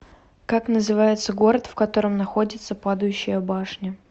как называется город в котором находится падающая башня